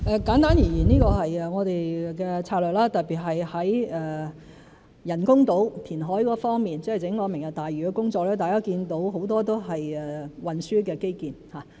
簡單而言這是我們的策略，特別是在人工島填海方面，即整個"明日大嶼"的工作，大家可見很多都是運輸的基建。